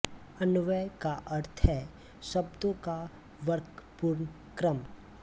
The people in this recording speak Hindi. अन्वय का अर्थ है शब्दों का तर्कपूर्ण क्रम